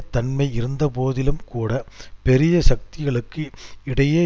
தன்மை இருந்தபோதிலும்கூட பெரிய சக்திகளுக்கு இடையே